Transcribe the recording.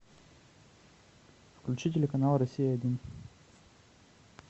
включи телеканал россия один